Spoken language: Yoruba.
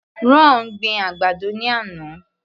Ron gbin àgbàdo ní àná.